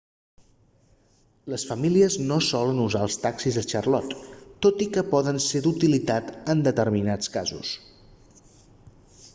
les famílies no solen usar els taxis a charlotte tot i que poden ser d'utilitat en determinats casos